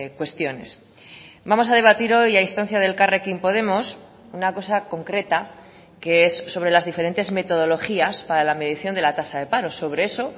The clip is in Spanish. cuestiones vamos a debatir hoy a instancia de elkarrekin podemos una cosa concreta que es sobre las diferentes metodologías para la medición de la tasa de paro sobre eso